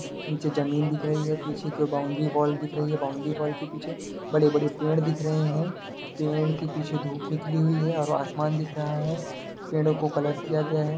नीचे जमीन दिख रही है | पीछे की बाउंड्री वॉल दिख रही है | बाउंड्री वॉल के पीछे बड़े-बड़े पेड़ दिख रहे हैं | पेड़ के पीछे धुप निकली हुई है और आसमान दिख रहा है | पेड़ो को कलर किया गया है।